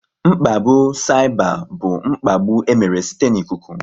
Mkpagbu saịba bụ mkpagbu e mere site n'ikuku